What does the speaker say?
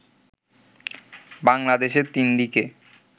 “ বাংলাদেশের তিনদিকে